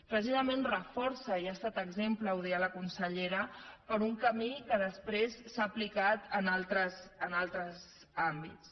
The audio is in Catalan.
precisament els reforça i n’ha estat exemple ho deia la consellera per un camí que després s’ha aplicat en altres àmbits